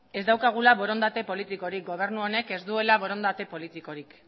ez daukagula borondate politikorik gobernu honek ez duela borondate politikorik